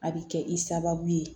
A bɛ kɛ i sababu ye